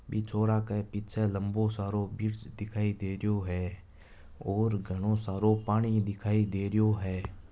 भी छोरा के पीछे लंबो सारो दिखाय दे रहियो है ओर घणो सारो पानी दिखाय दे रहियो है।